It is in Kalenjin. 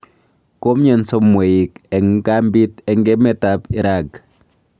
Komyonso mweik eng kambiit eng emet ab irag